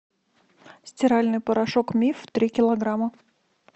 стиральный порошок миф три килограмма